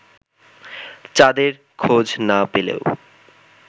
চাঁদের খোঁজ না পেলেও